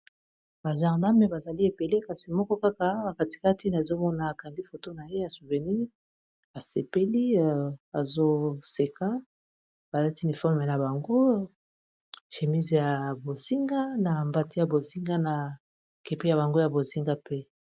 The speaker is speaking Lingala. ba gendarme bazali ebele kasi moko kaka nakatikati nazomona akangi foto na ye ya souvenir asepeli azoseka balati uniforme na bango chemised ya bozinga na mbati ya bozinga na kepi ya bango ya bozinga pe